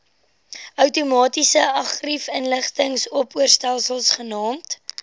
outomatiese argiefinligtingsopspoorstelsel genaamd